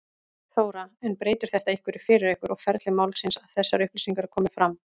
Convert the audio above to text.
Þóra: En breytir þetta einhverju fyrir ykkur og ferli málsins að þessar upplýsingar komi fram?